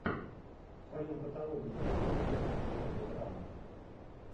в твоем каталоге есть фильмец в жанре драмы